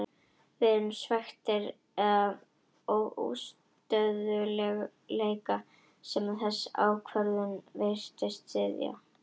Við erum svekktir með þann óstöðugleika sem þessi ákvörðun virðist styðja.